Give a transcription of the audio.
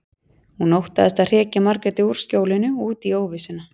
Hún óttaðist að hrekja Margréti úr skjólinu og út í óvissuna.